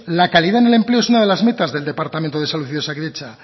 la calidad en el empleo es una de las metas del departamento de salud y de osakidetza